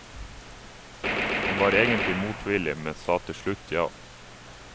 Han var egentlig motvillig, men sa til slutt ja.